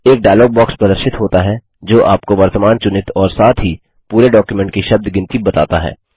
एक dialog box प्रदर्शित होता है जो आपको वर्तमान चुनित और साथ ही पूरे डॉक्युमेंट की शब्द गिनती बताता है